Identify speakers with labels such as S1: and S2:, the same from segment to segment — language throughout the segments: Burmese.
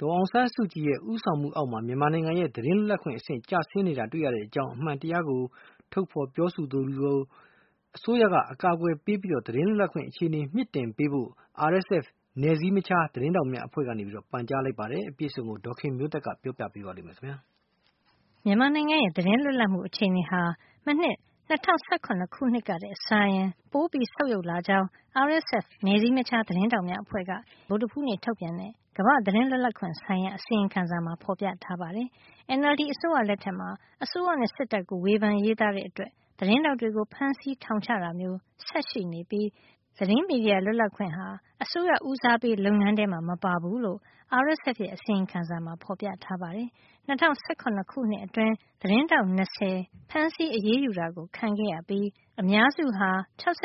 S1: ဒေါ်အောင်ဆန်းစုကြည်ရဲ့ ဦးဆောင်မှုအောက်မှာ မြန်မာနိုင်ငံရဲ့ သတင်းလွတ်လပ်ခွင့် အဆင့် - ကျဆင်းနေတာတွေ့ရကြောင်းနဲ့ အမှန်တရားကို ထုတ်ဖေါ် ပြောဆိုသူတွေကို အစိုးရက အကာကွယ်ပေးပြီး သတင်းလွတ်လပ်ခွင့် အခြေနေကို မြှင့်တင်ပေးဖို့ RSF နယ်စည်းမခြား သတင်းထောက်များအဖွဲ့က ပန်ကြားလိုက်ပါတယ်။ အပြည့်အစုံကို ဒေါ်ခင်မျိုးသက်က ပြောပြပေးမှာပါ။ မြန်မာနိုင်ငံရဲ့သတင်းလွတ်လပ်မှု အခြေအနေဟာ မနှစ် ၂၀၁၇ ခုနှစ်ကထက်စာရင် ပိုဆုတ်ယုတ်လာကြောင်း RSF နယ်စည်းမခြား သတင်းထောက်များအဖွဲ့က ဧပြီလ ၂၅ ရက် ဗုဒ္ဓဟူးနေ့ ထုတ်ပြန်တဲ့ ကမ္ဘာ့ သတင်းလွတ်လပ်ခွင့်ဆိုင်ရာ အစီရင်ခံစာမှာ ဖော်ပြထားပါတယ်။ NLD အစိုးရ လက်ထက်မှာ အစိုးရနဲ့ စစ်တပ်ကို ဝေဖန် ရေးသားတဲ့အတွက် သတင်းထောက်တွေကို ဖမ်းဆီး ထောင်ချတာမျိုး ဆက်ရှိနေပြီး သတင်းမီဒီယာ လွတ်လပ်ခွင့်ဟာ အစိုးရဦးစားပေး လုပ်ငန်းထဲမှာ မပါဘူးလို့ RSF ရဲ့ အစီရင်ခံစာမှာ ဖော်ပြထားပါတယ်။ ၂၀၁၇ ခုနှစ်အတွင်း သတင်းထောက် ၂၀ ဖမ်းဆီး အရေးယူခံခဲ့ရပြီး အများစုဟာ ၆၆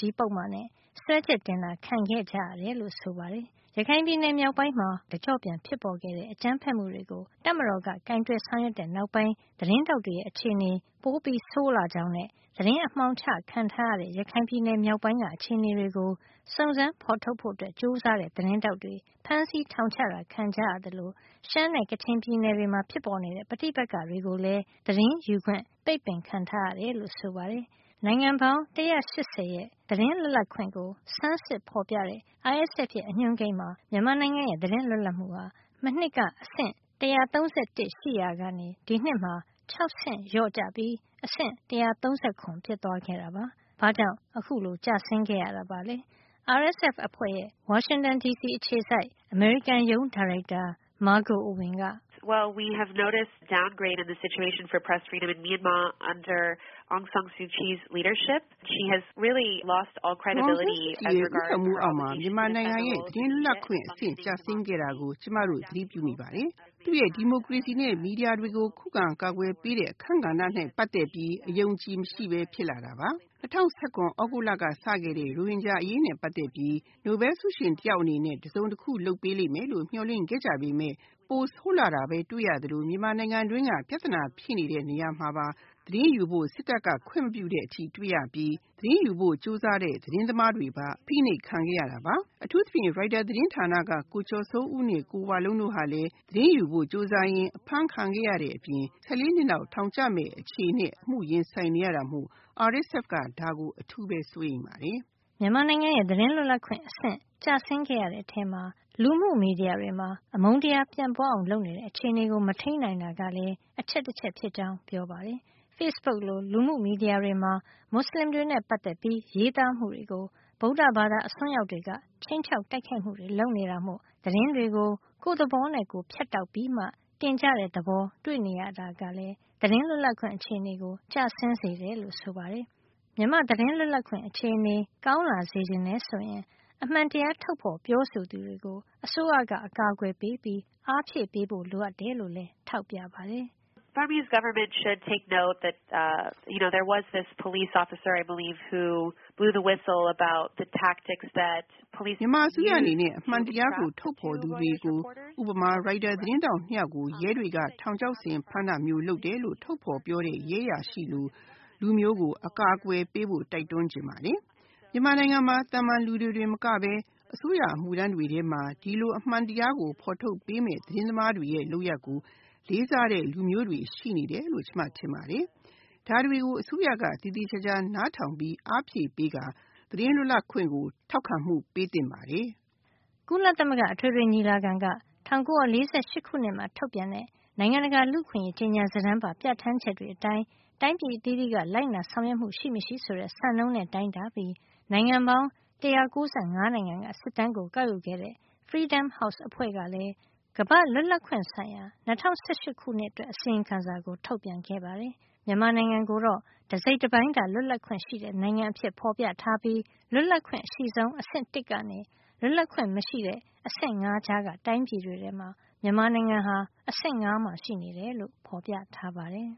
S1: (ဃ) ပုဒ်မနဲ့ စွဲချက် တင်ခံခဲ့ကြရတယ်လို့ ဆိုပါတယ်။ ရခိုင်ပြည်နယ်မြောက်ပိုင်းမှာ သြဂုတ်လက တကျော့ပြန် ဖြစ်ပေါ်ခဲ့တဲ့ အကြမ်းဖက်မှုတွေကို တပ်မတော်က ကိုင်တွယ် ဆောင်ရွက်တဲ့ နောက်ပိုင်း သတင်းထောက်တွေရဲ့ အခြေအနေပိုဆိုးလာကြောင်းနဲ့ သတင်းအမှောင် ချခံထားရတဲ့ ရခိုင်ပြည်နယ် မြောက်ပိုင်းက အခြေအနေတွေကို စုံစမ်း ဖော်ထုတ်ဖို့ကြိုးစားတဲ့ သတင်းထောက်တွေ ဖမ်းဆီးထောင်ချ ခံကြရသလို ရှမ်းနဲ့ ကချင်ပြည်နယ်တွေမှာ ဖြစ်ပေါ်နေတဲ့ ပဋိပက္ခတွေကိုလည်း သတင်းယူခွင့် ပိတ်ပင်ခံထားရတယ်လို့ ဆိုပါတယ်။ နိုင်ငံပေါင်း ၁၈၀ ရဲ့ သတင်းလွတ်လပ်ခွင့်ကို ဆန်းစစ်ဖေါ်ပြတဲ့ RSF ရဲ့ အညွှန်းကိန်းမှာ မြန်မာနိုင်ငံရဲ့ သတင်းလွတ်မှုဟာ မနှစ်က အဆင့် ၁၃၁ ရှိခဲ့ရာက ဒီနှစ်မှာ ၆ ဆင့် လျော့ကျပြီး အဆင့် ၁၃၇ ဖြစ်သွားခဲ့တာပါ။ ဘာကြောင့် အခုလို ကျဆင်းခဲ့ရတာပါလဲ။ RSF အဖွဲ့ရဲ့ ဝါရှင်တန်ဒီစီအခြေစိုက် အမေရိကန်ရုံး ဒါရိုက်တာ Margaux Ewen က "
S2: ဒေါ်အောင်ဆန်းစုကြည်ရဲ့ ဦးဆောင်မှုအောက်မှာ မြန်မာနိုင်ငံရဲ့ သတင်းလွတ်လပ်ခွင့် အဆင့် ကျဆင်းခဲ့တာကို ကျမတို့ သတိပြုမိပါတယ်။ သူ့ရဲ့ ဒီမိုကရေစီနဲ့ မီဒီယာတွေကို ခုခံကာကွယ်ပေးတဲ့ အခန်းကဏ္ဍနဲ့ ပတ်သက်ပြီးပါ အယုံအကြည်မရှိပဲ ဖြစ်လာတာပါ။ ၂၀၁၇ သြဂုတ်လ ကစခဲ့တဲ့ ရိုဟင်ဂျာ အရေးနဲ့ ပတ်သက်ပြီး နိုဘယ်လ်ဆုရှင်တယောက်အနေနဲ့ တစုံတခု လုပ်ပေးမယ်လို့ မျှော်လင့်ခဲ့ကြပေမယ့် ပိုဆိုး လာတာပဲ တွေ့ရသလို မြန်မာနိုင်ငံတွင်းက ပြဿနာဖြစ်နေတဲ့ နေရာမှာပါ သတင်းယူဖို့ စစ်တပ်က ခွင့်မပြုတဲ့ အထိတွေ့နေရပြီး သတင်းယူဖို့ ကြိုးစားတဲ့ သတင်းသမားတွေပါ အဖိနှိပ်ခံနေရတာပါ။ အထူးသဖြင့် ရိုက်တာသတင်းဌာနက ကိုကျော်စိုးဦးနဲ့ ကိုဝလုံးတို့ ဟာလည်း သတင်းယူဖို့ ကြိုးစားရင်း အဖမ်းခံနေရတဲ့ အပြင် နှစ်ပေါင်း ၁၄ နှစ်လောက် ထောင်ကျမယ့် အခြေနေနဲ့ အမှုရင်ဆိုင်နေရတာမို့ RSF က ဒါကို အထူးကို စိုးရိမ်ပါတယ်။" မြန်မာ
S1: နိုင်ငံရဲ့ သတင်းလွတ်လပ်ခွင့် အဆင့်ကျဆင်းခဲ့ရတဲ့ ထဲမှာ လူမှုမီဒီယာတွေမှာ အမုန်းတရားပြန့်ပွါးအောင် လုပ်နေတဲ့ အခြေနေကို မထိမ်းနိုင်တာကလည်း အချက်တချက်ဖြစ်ကြောင်း ပြောပါတယ်။ ဖေ့စ်ဘုတ်လို လူမှုမီဒီယာတွေမှာ မူစလင်တွေနဲ့ ပတ်သက်ပြီး ရေးသားမှုတွေကို ဗုဒ္ဓဘာသာ အစွန်းရောက်တွေက ခြိမ်းခြောက်တိုက်ခိုက်မှုတွေ လုပ်နေတာမို့ သတင်းတွေကို ကိုယ့်သဘောနဲ့ကိုယ် ဖြတ်တောက်ပြီးမှ တင်ကြတဲ့သဘော တွေ့နေရတာကလည်း သတင်းလွတ်လပ်ခွင့် အခြေနေကို ကျဆင်းစေတယ်လို့ ဆိုပါတယ်။ မြန်မာ့သတင်းလွတ်လပ်ခွင့် အခြေနေကောင်းလာစေချင်တယ်ဆိုရင် အမှန်တရားထုတ်ဖေါ်ပြောဆိုတဲ့ သူတွေကို အစိုးရကနေ အကာကွယ်ပေးပြီး အားဖြည့်ပေးဖို့ လိုအပ်တယ်လို့လည်း ထောက်ပြပါတယ်။ "မြန
S2: ်မာအစိုးရအနေနဲ့ အမှန်တရားကို ထုတ်ပြောသူတွေ ဥပမာ ရိုက်တာသတင်းထောက် ၂ ယောက်ကို ရဲတွေက ထောင်ချောက်ဆင် ဖမ်းတာမျိုး လုပ်တယ်လို့ ထုတ်ပြောတဲ့ ရဲအရာရှိလို လူမျိုးကို အကာကွယ်ပေးဖို့ တိုက်တွန်းချင်ပါတယ်။ မြန်မာနိုင်ငံမှာ သာမန်လူတွေတင် မကပဲ အစိုးရအမှုထမ်းတွေ ထဲမှာပါ ဒီလို အမှန်တရားကို ဖေါ်ထုတ်ပေးနေတဲ့ သတင်းသမားတွေရဲ့ လုပ်ရပ်ကို လေးစားတဲ့ လူမျိုးတွေ ရှိနေတယ်လို့ ကျမထင်ပါတယ်။ ဒါတွေကို အစိုးရက သေသေချာချာနားထောင် အားဖြည့်ပေးပြီး သတင်းလွတ်လပ်ခွင့် ကို ထောက်ခံမှု ပေးသင့်ပါတယ်။" ကုလသမဂ္ဂ အထွေထွေညီလာခံက ၁
S1: ၉၄၈ ခုနှစ်မှာ ထုတ်ပြန်တဲ့ နိုင်ငံတကာလူ့အခွင့်အရေး ကြေညာစာတမ်းပါ ပြဌာန်းချက်တွေအတိုင်း တိုင်းပြည်အသီးသီးက လိုက်နာ ဆောင်ရွက်မှု ရှိမရှိဆိုတဲ့ စံနှုန်းနဲ့ တိုင်းတာပြီး နိုင်ငံပေါင်း ၁၉၅ နိုင်ငံက စစ်တမ်းကို ကောက်ယူခဲ့တဲ့ Freedom House အဖွဲ့ကလည်း ကမ္ဘာ့လွတ်လပ်ခွင့်ဆိုင်ရာ ၂၀၁၈ ခုနှစ် အစီရင်ခံစာကို ထုတ်ပြန်ခဲ့ပါတယ်။ မြန်မာနိုင်ငံကိုတော့ တစိတ်တပိုင်းသာ လွတ်လပ်ခွင့်ရှိတဲ့ နိုင်ငံအဖြစ်ဖေါ်ပြထားပြီး လွတ်လပ်ခွင့်အရှိဆုံး အဆင့် ၁ ကနေ လွတ်လပ်ခွင့်မရှိတဲ့ အဆင့် ၇ အကြားက တိုင်းပြည်တွေထဲမှာ မြန်မာနိုင်ငံဟာ အဆင့် ၅ မှာ ရှိနေတယ်လို့ ဖော်ပြထားပါတယ်။